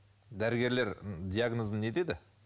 дәрігерлер м диагнозын не деді